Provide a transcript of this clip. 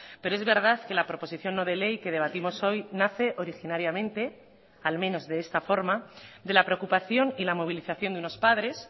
pero es verdad que la proposición no de ley que debatimos hoy nace originariamente al menos de esta forma de la preocupación y la movilización de unos padres